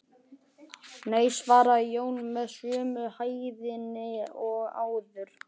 Nei, svaraði Jón með sömu hægðinni og áður.